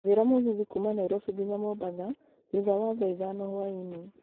njĩra mũgithi kuuma nairobi nginya mombatha thũtha wa thaa ithano hwaĩinĩ